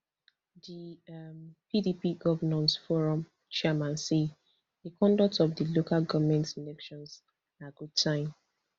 di um pdp govnors forum chairman say di conduct of di local goment elections na good sign